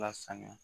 Lasaniya